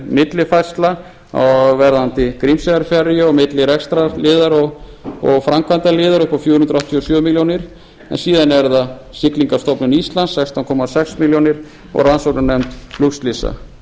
millifærsla á verðandi grímseyjarferju milli rekstrarliðar og framkvæmdarliðar upp á fjögur hundruð áttatíu og sjö milljónir en síðan er það siglingamálastofnun íslands sextán komma sex milljónir og rannsóknarnefnd flugslysa